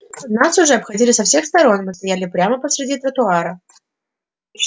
нас уже обходили со всех сторон мы стояли прямо посреди тротуара